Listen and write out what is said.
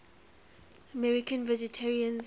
american vegetarians